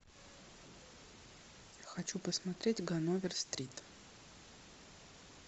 хочу посмотреть ганновер стрит